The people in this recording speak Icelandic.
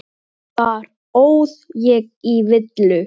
Engi höfðust þeir orð við.